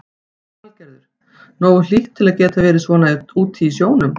Lillý Valgerður: Nógu hlýtt til að geta verið svona úti í sjónum?